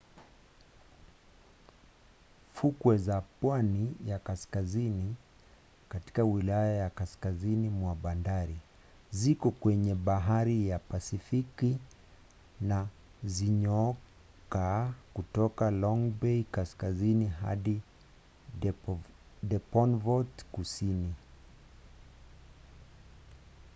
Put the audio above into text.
fukwe za pwani ya kaskazini katika wilaya ya kaskazini mwa bandari ziko kwenye bahari ya pasifiki na zinyooka kutoka long bay kaskazini hadi devonport kusini